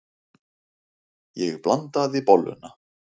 Ég blandaði bolluna.